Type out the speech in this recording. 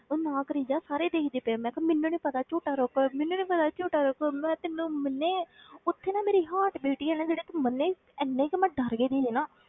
ਉਹ ਨਾ ਕਰੀ ਜਾ ਸਾਰੇ ਦੇਖਦੇ ਪਏ ਆ, ਮੈਂ ਕਿਹਾ ਮੈਨੂੰ ਨੀ ਪਤਾ ਝੂਟਾ ਰੋਕ ਮੈਨੂੰ ਨੀ ਪਤਾ ਝੂਟਾ ਰੋਕੋ, ਮੈਂ ਤੈਨੂੰ ਮੰਨੇ ਉੱਥੇ ਨਾ ਮੇਰੀ heart beat ਹੀ ਆ ਨਾ ਜਿਹੜੀ ਤੂੰ ਮੰਨੇਗੀ, ਇੰਨੇ ਕੁ ਮੈਂ ਡਰ ਗਈ ਸੀਗੀ ਨਾ,